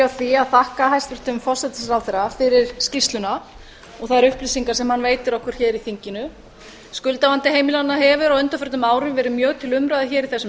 því að þakka hæstvirtum forsætisráðherra fyrir skýrsluna og þær upplýsingar sem hann veitir okkur hér í þinginu skuldavandi heimilanna hefur á undanförnum árum verið mjög til umræðu hér í þessum